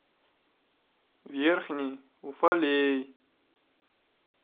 верхний уфалей